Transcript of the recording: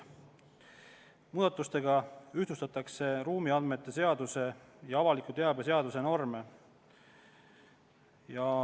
Muudatusega ühtlustatakse ruumiandmete seaduse ja avaliku teabe seaduse norme.